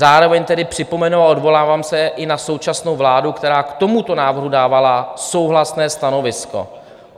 Zároveň tedy připomenu a odvolávám se i na současnou vládu, která k tomuto návrhu dávala souhlasné stanovisko.